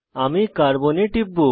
আমি কার্বন এ টিপব